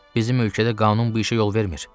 Bizim ölkədə qanun bu işə yol vermir.